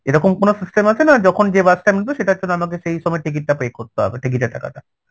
এরকম কোন system আছে না আর যখন যে bus টা উঠবে সেটার জন্য আমাকে সেই সময় ticket টা pay করতে হবে ticket এর টাকাটা?